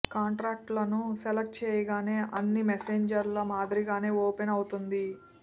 కాంటాక్ట్లను select చేయగానే అన్ని మెసెంజర్ల మాదిరిగానే ఓపెన్ అవుతుంది